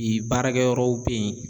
Yen baarakɛyɔrɔw be yen